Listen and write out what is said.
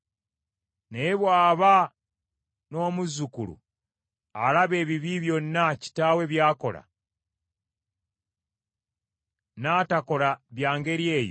“Naye bw’aba n’omuzzukulu, alaba ebibi byonna kitaawe by’akola, n’atakola bya ngeri eyo;